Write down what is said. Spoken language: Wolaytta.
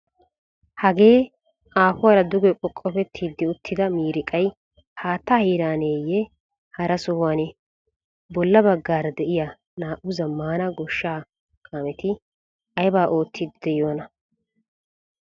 Hagee aafuwara duge qoqqofetti uttida miiriqay haattaa heeraaneeyye hara sohuwanee? Bolla baggaara de'iya naa"u zammaana goshshaa kaameti aybaa oottiiddi de'iyonaa?